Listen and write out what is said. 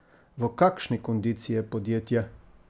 V kakšni kondiciji je podjetje?